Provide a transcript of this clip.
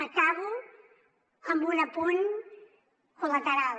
acabo amb un apunt col·lateral